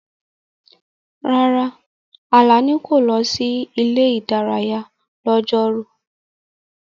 Rárá, Alani kò lọ sí ilé-ìdárayá lọ́jọ́rú.